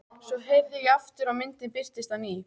Svo herði ég aftur og myndin birtist á ný.